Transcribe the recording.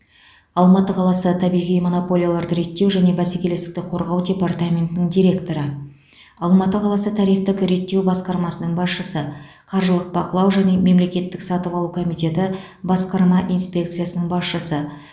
алматы қаласы табиғи монополияларды реттеу және бәсекелестікті қорғау департаментінің директоры алматы қаласы тарифтік реттеу басқармасының басшысы қаржылық бақылау және мемлекеттік сатып алу комитеті басқарма инспекциясының басшысы